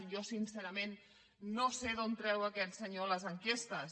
jo sincerament no sé d’on treu aquest senyor les enquestes